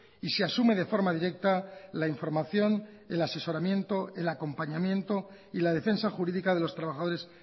y se asume de forma directa la información el asesoramiento el acompañamiento y la defensa jurídica de los trabajadores